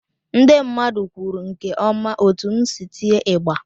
Ndị mmadụ kwuru nke ọma otú m si tịe ịgbà.